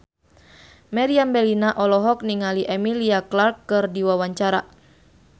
Meriam Bellina olohok ningali Emilia Clarke keur diwawancara